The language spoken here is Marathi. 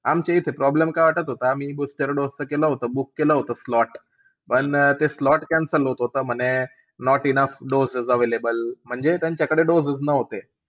आमच्या इथे problem काय वाटत होता ते booster dose च केला book केला होता, केला होतं slot. पण ते slot cancel होत होता म्हणे not enough doses available म्हणजे त्यांच्याकडे dose च नव्हते.